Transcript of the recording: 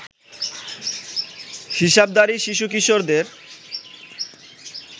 হিসাবধারী শিশু-কিশোরদের